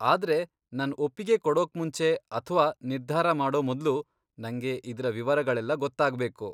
ಆದ್ರೆ ನನ್ ಒಪ್ಪಿಗೆ ಕೊಡೋಕ್ಮುಂಚೆ ಅಥ್ವಾ ನಿರ್ಧಾರ ಮಾಡೋ ಮೊದ್ಲು, ನಂಗೆ ಇದ್ರ ವಿವರಗಳೆಲ್ಲ ಗೊತ್ತಾಗ್ಬೇಕು.